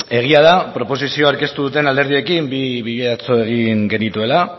egia da proposizioa aurkeztu duten alderdiekin bi bilera egin genituela atzo